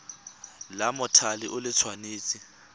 la mothale o le tshwanetse